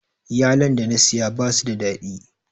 Yalon da na siya basu da daɗi